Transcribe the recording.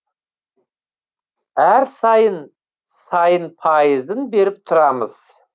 әр сайын сайын пайызын беріп тұрамыз